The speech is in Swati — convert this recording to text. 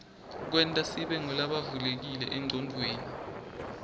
ksenta sibe ngulabavulekile enqcondweni